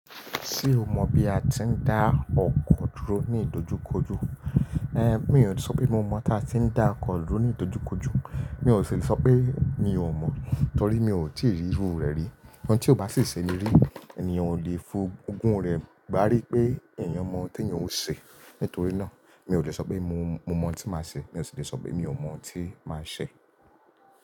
Ṣé o mọ̀ bí a ti ń dá ọkọ dúró ní ìdojúkojú? Mi ò lè sọ pé mo mọ̀ táa ti ń dá ọkọ dúró ní ìdojúkojú. Mi ò sì lè sọ pé mi ò mọ̀ torí mi ò tíì rí irú rẹ̀ rí. Nnkan tí ó bá sì ṣẹ́ni rí, ènìyàn ò lè fún ogún rẹ̀ gbá rí pé ènìyàn mọ̀ n tí èeyàn ó ṣe. Nítorí náà, mi ò lè sọ pé mo, mo mọ̀ n tí màá ṣe, mi ò sì lè sọ pé mi ò mọ̀ n tí màá ṣe.